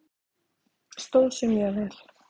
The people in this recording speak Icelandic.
Stóð sig mjög vel.